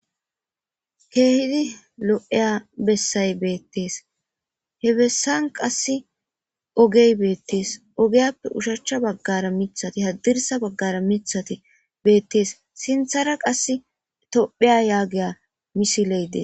keehidi lo7eya bessay beettees he bessan qass ogey beettees ogeyappe ushachcha baggara mithati haddirsa baggara mithati beettees sinthara qass topheya yaagiya misileede